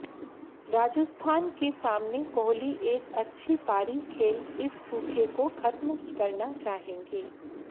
राजस्थान के सामने कोहली एक अच्छी पारी खेल इस सूखे को खत्म करना चाहेंगे